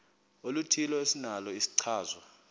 oluthile esinalo isichazwa